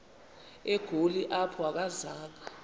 egoli apho akazanga